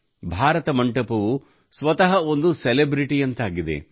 ಭಾರತ ಮಂಟಪವು ಸ್ವತಃ ಒಂದು ಸೆಲೆಬ್ರಿಟಿಯಂತಾಗಿದೆ